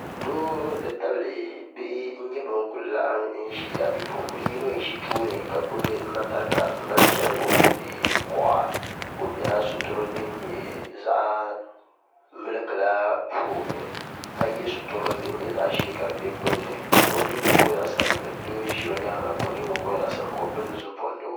doo nti tabili bihi n-nyɛ bɛn kuli laɣim ʒia bipuɣim' bila yino n-ʒi tooni ka gbubi matarika m-mali chɛri wurindi kuɣa ka o bɛla sitirili din nyɛ zaɣ' miliki la puuni ka ye sitirili din nyɛ zaɣ' ʒee ka di be gbunni ka o ningbun' kom nyɛ zaɣ' sabinli doo n-ʒi o nyaanga ka o ningbun' kom nyɛ zaɣ' sabinli ka o pindi zuɣupindigu